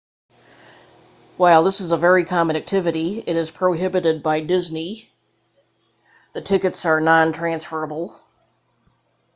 while this is a very common activity it is prohibited by disney the tickets are non-transferable